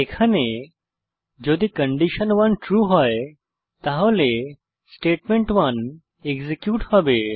এখানে যদি condition one true হয় তাহলে স্টেটমেন্ট1 এক্সিকিউট হবে